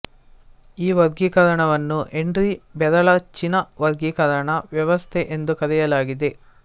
ಈ ವರ್ಗೀಕರಣವನ್ನು ಹೆನ್ರಿ ಬೆರಳಚ್ಚಿನ ವರ್ಗೀಕರಣ ವ್ಯವಸ್ಥೆ ಎಂದು ಕರೆಯಲಾಗಿದೆ